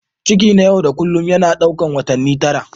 Ciki na yau da kullun yana ɗaukar watanni tara.